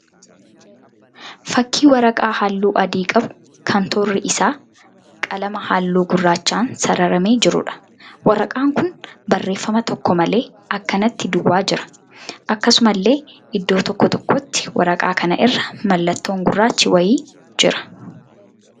Fakkii waraqaa halluu adii qabu kan toorri isaa qalama halluu gurraachaan sararamee jiruudha. Waraqaan kun barreeffama tokko malee akkanatti duwwaa jira. Akkasumallee iddoo tokko tokkotti waraqaa kana irra mallattoon gurraachi wayi jira.